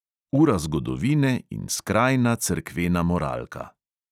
Ura zgodovine in skrajna cerkvena moralka ...